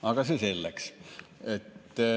Aga see selleks.